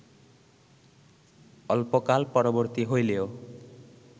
অল্পকাল-পরবর্তী হইলেও